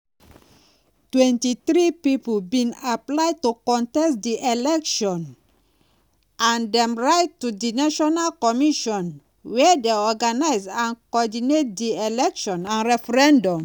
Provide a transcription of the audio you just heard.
23 pipo bin apply to contest di election and dem write to di national commission wey dey organize and coordinate di election and referendum.